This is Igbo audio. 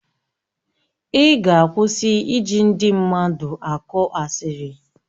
Ị ga-akwụsị ịja ndị mmadụ akọ asịrị?